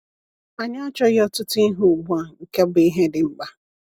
“Anyị achaoghị ọtụtụ ihe ugbu a, nke bụ ihe dị mkpa.”